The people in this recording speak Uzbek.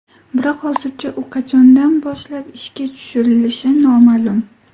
Biroq hozircha u qachondan boshlab ishga tushirilishi noma’lum.